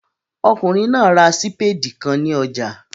Ọkùnrin náà ra sípèdì kan ní ọjà